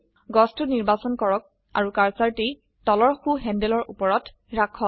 গছটো নিৰ্বাচন কৰক আৰু কাৰ্সাৰটি তলৰ সো হেন্দেলৰ উপৰত ৰাখক